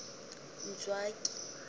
ntswaki